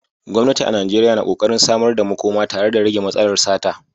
Gwamnati a Najeriya na ƙoƙarin samar da makoma tare da rage matsalar sata.